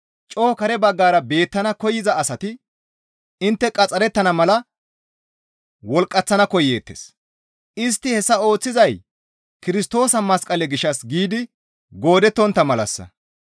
Coo kare baggara beettana koyza asati intte qaxxarettana mala wolqqaththana koyeettes; istti hessa ooththizay Kirstoosa masqale gishshas giidi goodettontta malassa.